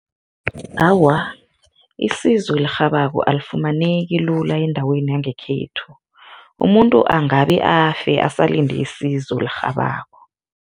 Awa, isizo elirhabako alifumaneki lula endaweni yangekhethu, umuntu angabe afe asalinde isizo elirhabako.